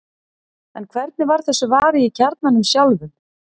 en hvernig var þessu varið í kjarnanum sjálfum